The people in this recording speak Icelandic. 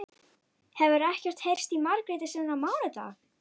Hefur ekkert heyrst í Margréti síðan á mánudag?